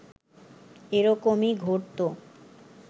এরকমই ঘটতো